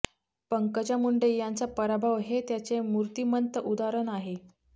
पंकजा मुंडे यांचा पराभव हे त्याचे मूर्तिमंत उदाहरण आहे